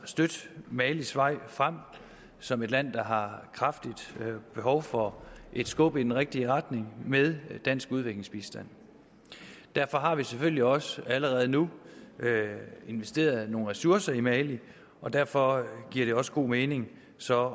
at støtte malis vej frem som et land der har kraftigt behov for et skub i den rigtige retning med dansk udviklingsbistand derfor har vi selvfølgelig også allerede nu investeret nogle ressourcer i mali og derfor giver det også god mening så at